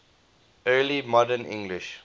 early modern english